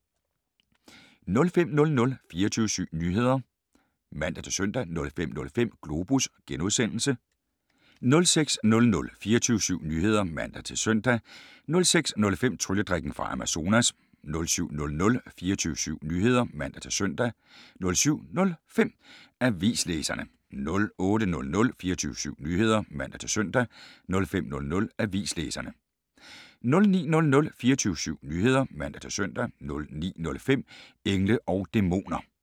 05:00: 24syv Nyheder (man-søn) 05:05: Globus (G) 06:00: 24syv Nyheder (man-søn) 06:05: Trylledrikken fra Amazones 07:00: 24syv Nyheder (man-søn) 07:05: Avislæserne 08:00: 24syv Nyheder (man-søn) 08:05: Avislæserne 09:00: 24syv Nyheder (man-søn) 09:05: Engle og Dæmoner